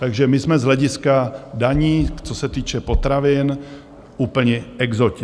Takže my jsme z hlediska daní, co se týče potravin, úplní exoti.